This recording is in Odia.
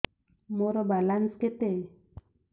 ମୋର ବାଲାନ୍ସ କେତେ